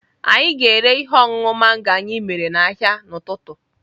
A ga-ere ihe ọṅụṅụ mango anyị mere n'ahịa n'ụtụtụ.